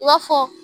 I b'a fɔ